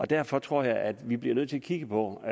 derfor tror jeg at vi bliver nødt til at kigge på og